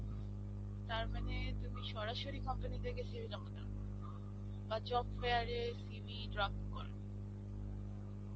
তারমানে তুমি সরাসরি company তে জমা দাও. বা job fair এ CV drop করো.